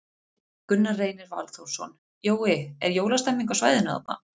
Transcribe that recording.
Gunnar Reynir Valþórsson: Jói, er jólastemmning á svæðinu þarna?